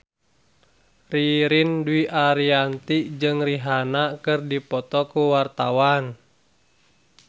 Ririn Dwi Ariyanti jeung Rihanna keur dipoto ku wartawan